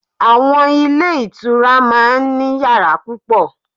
Àwon Ilé Ìtura máa n ní yàrá púpọ̀